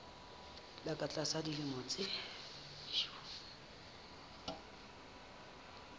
ba ka tlasa dilemo tse